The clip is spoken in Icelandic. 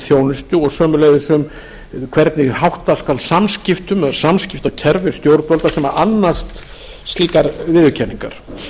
þjónustu og sömuleiðis hvernig hátta skal samskiptum eða samskiptakerfi stjórnvalda sem annast slíkar viðurkenningar